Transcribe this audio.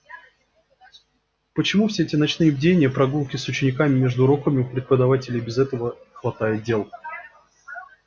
почему все эти ночные бдения прогулки с учениками между уроками у преподавателей и без того хватает дел